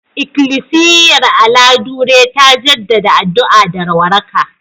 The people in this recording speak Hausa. Ikilisiyar Aladure ta jaddada addu'a da waraka